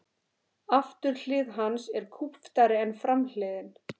Afturhlið hans er kúptari en framhliðin.